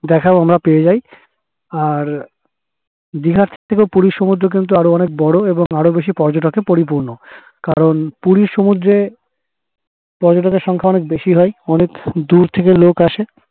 দেখাও আমরা পেয়ে যাই আর দিঘার থেকে পুরীর সমুদ্র কিন্তু আরো বোরো এবং আরো বেশি পর্যটকে পরিপূর্ণ কারণ পুরীর সমুদ্রে পর্যটকের সংখ্যা অনেক বেশি হয় এবং দূর থেকে অনেক লোক আসে